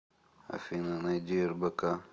афина найди рбк